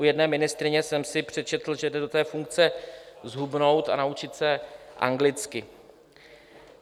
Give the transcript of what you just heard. U jedné ministryně jsem si přečetl, že jde do té funkce zhubnout a naučit se anglicky.